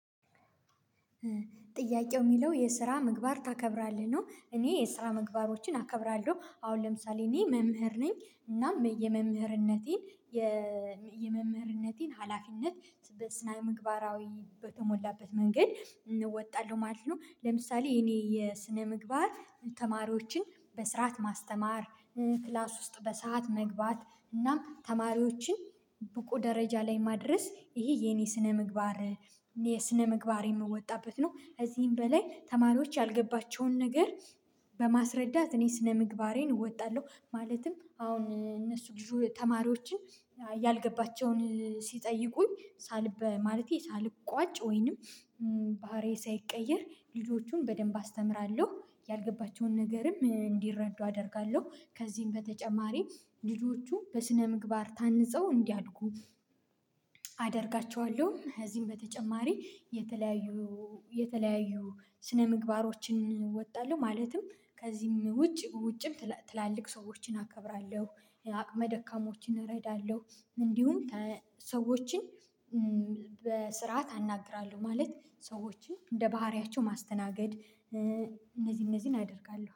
ጥያቄው የሚለው የስራ ምግባር ታከብራለህ ነው? እኔ የስራ ምግባሮችን አከብራለሁ አሁን ለምሳሌ እኔ መምህር ነኝ እና የመምህርነቴን የመምህርነቴን ሀላፊነት በስነ ምግባራዊ በተሞላበት መንገድ እወጣለሁ ማለት ነው። ለምሳሌ የኔ የስነ ምግባር ተማሪዎችን በስርዓት ማስተማር ክላስ ውስጥ በሰአት መግባት እናም ተማሪዎችን ብቁ ደረጃ ላይ ማድረስ ይሄ የኔ ስነ ምግባር እኔ ስነ ምግባር የምወጣበት ነው። ከዚህም በላይ ተማሪዎች ያልገባቸውን ነገር በማስረዳት እኔ ስነምግባሬን እወጣለሁ ማለትም አሁን እነሱ ልጁ ተማሪዎችን ያልገባቸውን ሲጠይቁኝ ሳል በማለቴ ሳልቋጭ ወይንም ባህሪዬ ሳይቀየር ልጆቹን በደንብ አስተምራለሁ ያልገባቸውን ነገርም እንዲረዱ አደርጋለሁ። ከዚህም በተጨማሪ ልጆቹ በስነምግባር ታንጸው እንዲያድጉ አደርጋቸዋለሁ። ከዚህም በተጨማሪ የተለያዩ የተለያዩ ስነምግባሮችን እወጣለሁ ማለትም ከዚህም ውጭ ውጭም ትላልቅ ሰዎችን አከብራለሁ አቅመ ደካሞችን እረዳለሁ እንዲሁም ሰዎችን በስርዓት አናግራለሁ። ማለት ሰዎችን እንደ ባህሪያቸው ማስተናገድ እነዚህ እነዚህን አደርጋለሁ